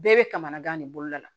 Bɛɛ bɛ kamana gan de boloda la